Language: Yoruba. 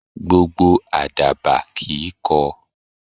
Gbogbo Àdàbà kìí kọ.